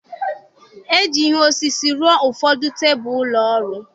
E ji ihe osisi rụọ ụfọdụ tebụl ụlọ ọrụ.